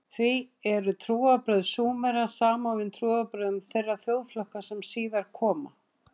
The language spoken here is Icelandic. Því eru trúarbrögð Súmera samofin trúarbrögðum þeirra þjóðflokka sem síðar koma.